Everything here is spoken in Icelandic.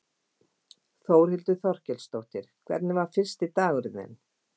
Þórhildur Þorkelsdóttir: Hvernig var fyrsti dagurinn þinn?